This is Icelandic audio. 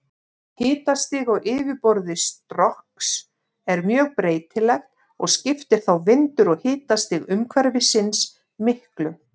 Hitastig á yfirborði Strokks er mjög breytilegt og skiptir þá vindur og hitastig umhverfisins miklu.